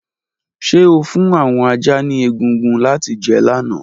Ṣe o fun awọn ajá ni egungun lati jẹ lana?